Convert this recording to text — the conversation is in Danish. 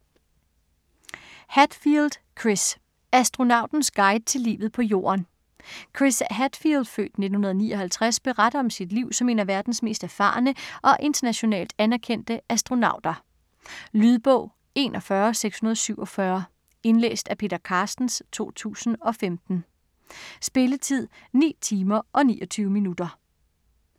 Hadfield, Chris: Astronautens guide til livet på jorden Chris Hadfield (f. 1959) beretter om sit liv som en af verdens mest erfarne og internationalt anerkendte astronauter. Lydbog 41647 Indlæst af Peter Carstens, 2015. Spilletid: 9 timer, 29 minutter.